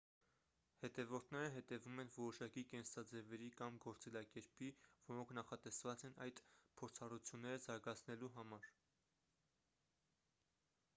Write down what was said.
հետևորդները հետևում են որոշակի կենսաձևերի կամ գործելակերպի որոնք նախատեսված են այդ փորձառությունները զարգացնելու համար